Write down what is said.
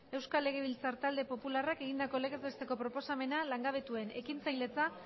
euskal legebiltzar talde popularrak egindako legez besteko proposamena langabetuen ekintzailetza